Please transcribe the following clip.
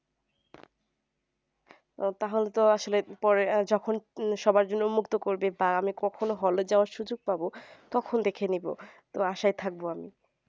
তাহলে তো আসলে পরে যখন সবার জন্যে উন্মক্ত করবে বা আমি কখনো hall এ যাওয়ার সুযোগ পাবো তখন দেখে নিবো তো আশায় থাকব আমি